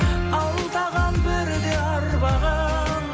алдаған бірде арбаған